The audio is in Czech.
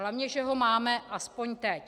Hlavně že ho máme aspoň teď.